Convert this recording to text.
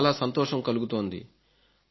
నాకు చాలా సంతోషం కలుగుతోంది